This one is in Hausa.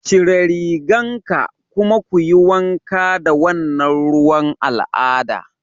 Cire rigan ka kuma kuyi wanka da wannan ruwan al'ada